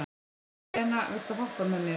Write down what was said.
Serena, viltu hoppa með mér?